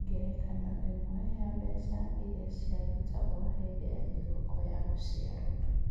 Ngerekano ĩmwe nĩ ya mbeca iria ciarutagwo hĩndĩ ya thigũkũ ya gũciarũo.